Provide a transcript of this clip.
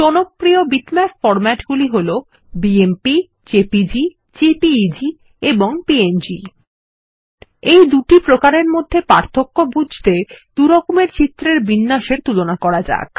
জনপ্রিয় বিটম্যাপ ফর্ম্যাটগুলি হল বিএমপি জেপিজি জেপিইজি এবং প্যাং এই দুটি প্রকারের মধ্যে পার্থক্য বুঝতে দুরকমের চিত্রের বিন্যাসের তুলনা করা যাক